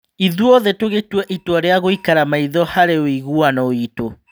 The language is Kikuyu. Ithuothe tũgĩtua itwa rĩa gũikara maitho harĩ ũiguano witũ.